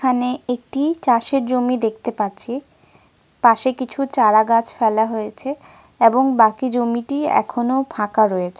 পিছনে তাল খুজুর > এবং অন্যান্য গাছের সমাহার দেখা যা --